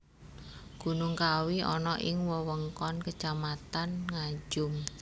Gunung Kawi ana ing wewengkon Kacamatan Ngajum